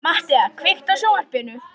Mattea, kveiktu á sjónvarpinu.